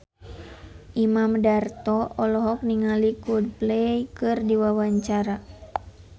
Imam Darto olohok ningali Coldplay keur diwawancara